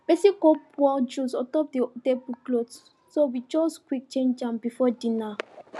person go pour juice untop the table cloth so we just quick change am before dinner